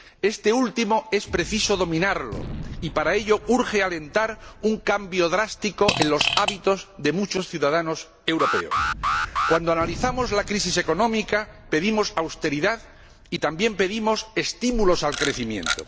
Este último es preciso dominarlo y, para ello, urge alentar un cambio drástico en los hábitos de muchos ciudadanos europeos. Cuando analizamos la crisis económica, pedimos austeridad y también pedimos estímulos al crecimiento.